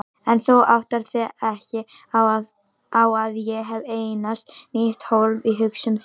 En þú áttar þig ekki á að ég hef eignast nýtt hólf í hugsun þinni.